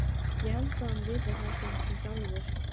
Og það var engin aðstaða í Ögri.